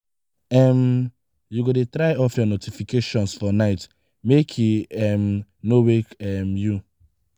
um you go dey try off your notifications for night make e um no wake um you.